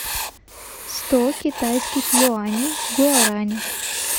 сто китайских юаней в гуарани